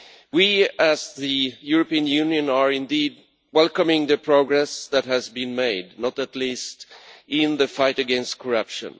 We as the European Union indeed welcome the progress that has been made, not least in the fight against corruption.